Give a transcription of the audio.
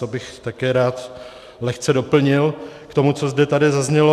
To bych také rád lehce doplnil k tomu, co zde tady zaznělo.